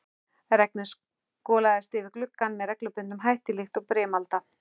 Regnið skolaðist yfir gluggann með reglubundnum hætti líkt og brimalda.